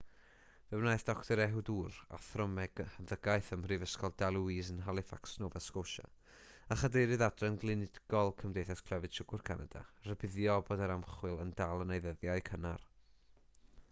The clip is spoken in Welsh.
fe wnaeth dr ehud ur athro meddygaeth ym mhrifysgol dalhousie yn halifax nova scotia a chadeirydd adran glinigol cymdeithas clefyd siwgr canada rybuddio bod yr ymchwil yn dal yn ei ddyddiau cynnar